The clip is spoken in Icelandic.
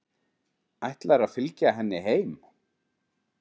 Ætlarðu að fylgja henni heim?